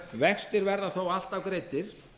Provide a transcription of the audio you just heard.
vextir verða þó alltaf greiddir